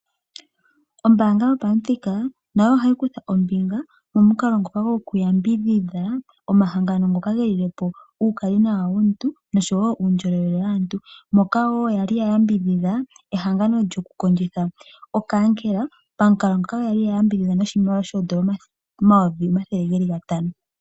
Ombanga yopamuthika gopombanda nayo ihayi kutha ombinga moku yambidhidha omahangano ngoka ge lilepo uukali nawa womuntu nosho wo uundjolowele waantu, moka wo yali ya yambidhidha ehangano lyoku kondjitha okankela, pamukalo ngoka yali ya yambidhidha noshimaliwa N$500 000.00.